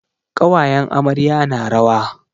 Ƙawayen amarya na rawa.